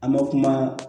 An bɛ kuma